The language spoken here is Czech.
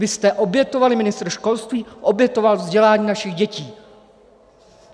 Vy jste obětovali, ministr školství obětoval vzdělání našich dětí!